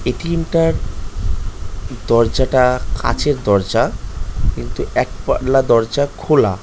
ATM টার দরজাটা কাঁচের দরজা কিন্তু একপাল্লা দরজা খোলা ।